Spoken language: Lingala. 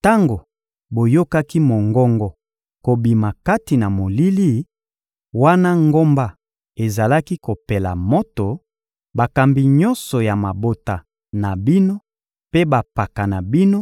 Tango boyokaki mongongo kobima kati na molili, wana ngomba ezalaki kopela moto, bakambi nyonso ya mabota na bino mpe bampaka na bino